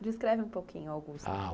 Descreve um pouquinho a Augusta.